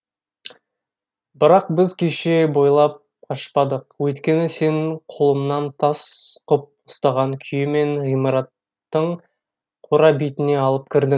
бірақ біз кеше бойлап қашпадық өйткені сен қолымнан тас қып ұстаған күйі мені ғимараттың қора бетіне алып кірдің